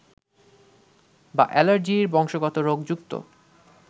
বা অ্যালার্জির বংশগত রোগ যুক্ত